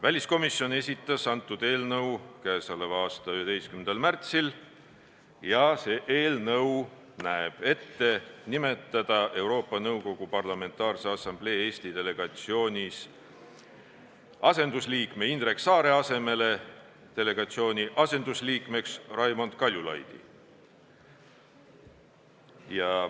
Väliskomisjon esitas selle eelnõu k.a 11. märtsil ja see näeb ette nimetada Euroopa Nõukogu Parlamentaarse Assamblee Eesti delegatsioonis asendusliikme Indrek Saare asemele delegatsiooni asendusliikmeks Raimond Kaljulaidi.